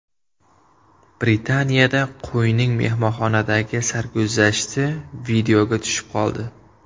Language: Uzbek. Britaniyada qo‘yning mehmonxonadagi sarguzashti videoga tushib qoldi.